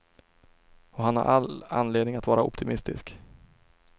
Och han har all anledning att vara optimistisk.